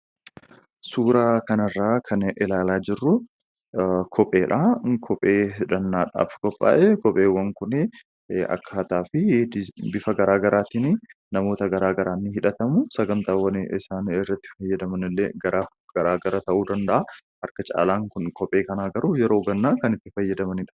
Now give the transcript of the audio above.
Suuraa kana irraa kan ilaalaa jirru kopheedha. Kopheen kunis kophee hidhannaadhaaf qophaa'edha. Kopheenis bocaa fi bifa garaa garaan namoota garaa garaan ni hidhatamu. Sagantaawwan irratti hidhataman illee garaa gara ta'uu danda'a. Kopheen kun garuu irraa caalaa ganna hidhatama.